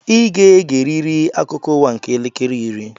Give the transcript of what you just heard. I ga-egeriri akụkọ ụwa nke elekere iri!